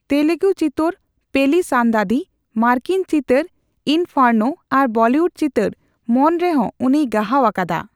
ᱛᱮᱞᱮᱜᱩ ᱪᱤᱛᱟᱹᱨ, ᱯᱮᱞᱤ ᱥᱟᱱᱫᱟᱫᱤ, ᱢᱟᱨᱠᱤᱱ ᱪᱤᱛᱟᱹᱨ, ᱤᱱᱯᱷᱟᱨᱱᱳ ᱟᱨ ᱵᱚᱞᱤᱭᱩᱰ ᱪᱤᱛᱟᱹᱨ, ᱢᱚᱱ ᱨᱮᱦᱳᱸ ᱩᱱᱤᱭ ᱜᱟᱦᱟᱣ ᱟᱠᱟᱫᱟ ᱾